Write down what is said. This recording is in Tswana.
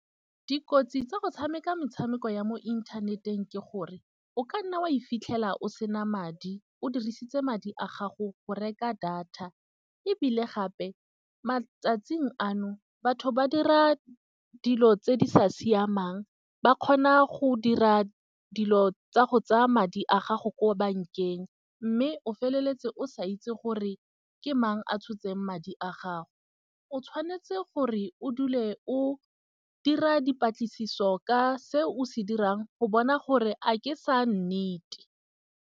Dikotsi tsa go tshameka metshameko ya mo inthaneteng, ke gore o ka nna wa e fitlhela o sena madi. O dirisitse madi a gago go reka data, ebile gape matsatsing ano batho ba dira dilo tse di sa siamang ba kgona go dira dilo tsa go tsaya madi a gago ko bankeng. Mme o feleletse o sa itse gore ke mang a tshotseng madi a gago. O tshwanetse gore o dule o dira dipatlisiso ka se o se dirang go bona gore a ke sa nnete.